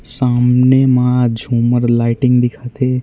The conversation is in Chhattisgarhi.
सामने म झूमर लाइटिंग दिखत हे।